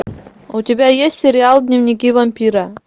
у тебя есть сериал дневники вампира